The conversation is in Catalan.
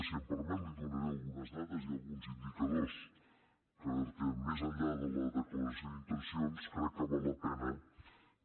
si m’ho permet li donaré algunes dades i alguns indicadors perquè més enllà de la declaració d’intencions crec que val la pena que